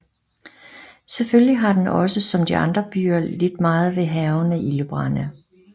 Selvfølgelig har den også som de andre byer lidt meget ved hærgende ildebrande